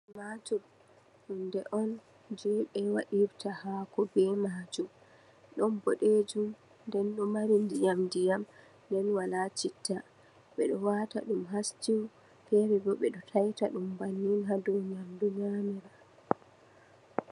Tumatur, hunde on jei ɓe waɗirta haako be maajam. Ɗon boɗejum nden ɗo mari ndiyam-ndiyam, nden wola citta. Ɓe ɗo waata ɗum ha stew, fere bo ɓe ɗo taita ɗum bannin ha dou nyamdu nyamira.